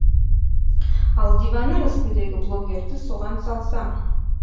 ал диванның үстіндегі блогерді соған салсаң